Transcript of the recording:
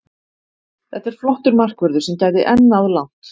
Þetta er flottur markvörður sem gæti enn náð langt.